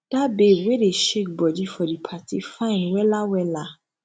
that babe wey dey shake body for di party fine wella wella